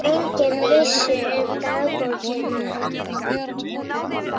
Enginn vissi um dagbókina.